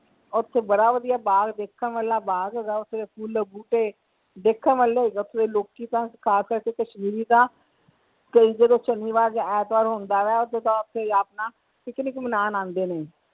ਓਥੇ ਬੜਾ ਵਧੀਆ ਬਾਗ਼ ਦੇਖਣ ਵਾਲਾ ਬਾਗ਼ ਹੈਗਾ ਓਥੇ ਫੁੱਲ ਬੂਟੇ ਦੇਖਣ ਵਾਲੇ ਹੈਗੇ ਓਥੇ ਦੇ ਲੋਕੀ ਤਾਂ ਖਾਸ ਕਰਕੇ ਕਸ਼ਮੀਰੀ ਤਾਂ ਕਈ ਜਦੋਂ ਸ਼ਨੀਵਾਰ ਜਾਂ ਐਤਵਾਰ ਹੁੰਦਾ ਵਾ ਓਦੋ ਓਥੇ ਆਪਣਾ picnic ਮਨਾਉਣ ਆਂਦੇ ਆ।